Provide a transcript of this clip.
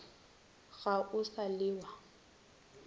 ga o sa le wa